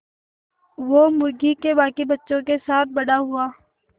वो मुर्गी के बांकी बच्चों के साथ बड़ा हुआ